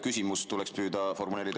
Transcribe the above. Küsimus tuleks püüda formuleerida …